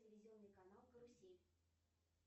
телевизионный канал карусель